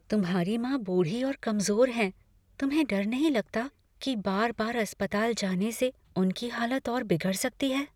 तुम्हारी माँ बूढ़ी और कमज़ोर हैं, तुम्हें डर नहीं लगता कि बार बार अस्पताल जाने से उनकी हालत और बिगड़ सकती है?